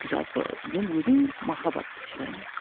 жалпы мен өзім махаббатты сыйлаймын